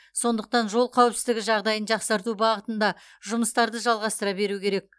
сондықтан жол қауіпсіздігі жағдайын жақсарту бағытында жұмыстарды жалғастыра беру керек